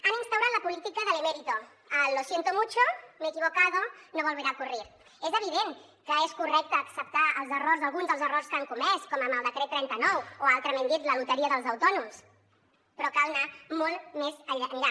han instaurat la política de l’emérito el lo siento mucho me he equivocado no volverá a ocurrirdent que és correcte acceptar els errors alguns dels errors que han comès com amb el decret trenta nou o altrament dit la loteria dels autònoms però cal anar molt més enllà